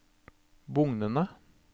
bugnende